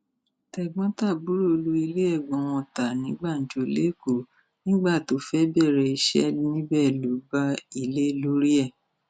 tẹgbọntàbúrò lu ilé ẹgbọn wọn ta ní gbàǹjo lẹkọọ nígbà tó fẹẹ bẹrẹ iṣẹ níbẹ lọ bá ilé lórí ẹ